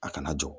A kana jɔ